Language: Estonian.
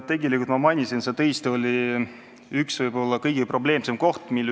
Tegelikult ma märkisin, et see tõesti võib olla eelnõu kõige probleemsem koht.